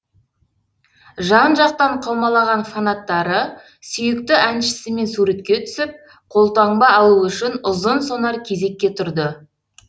жан жақтан қаумалаған фанаттары сүйікті әншісімен суретке түсіп қолтаңба алу үшін ұзын сонар кезекке тұрды